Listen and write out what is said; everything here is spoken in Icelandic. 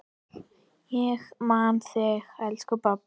Ég man þig, elsku pabbi.